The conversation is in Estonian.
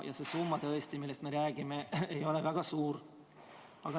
Ja see summa, millest me räägime, ei ole riigi jaoks väga suur.